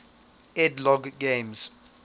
ed logg games